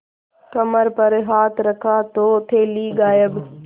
कमर पर हाथ रखा तो थैली गायब